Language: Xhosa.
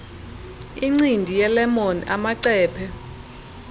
incindi yelemon amacephe